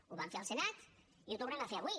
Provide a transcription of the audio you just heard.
ho vam fer al senat i ho tornem a fer avui